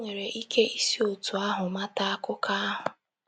I nwere ike isi otú ahụ mata akụkọ ahụ.